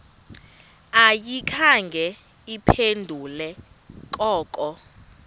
ayikhange iphendule koko